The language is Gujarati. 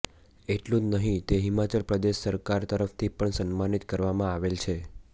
એટલું જ નહીં તે હિમાચલ પ્રદેશ સરકાર તરફથી પણ સન્માનિત કરવામાં આવેલ છે